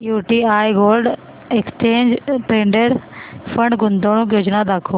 UTI gold exchange traded fund गुंतवणूक योजना दाखव